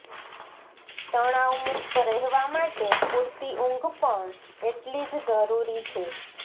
તણાવમુક્ત રહેવા માટે પૂરતી ઊંઘ પણ એટલી જ જરૂરી છે